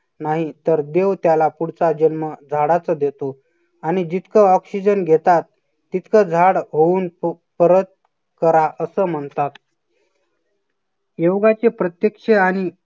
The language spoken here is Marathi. नाहीतर देव त्याला पुढचा जन्म झाडाचं देतो आणि जितकं oxygen घेतात तितकं झाड होऊन परत करा. असं म्हणतात. योगाचे प्रत्यक्ष आणि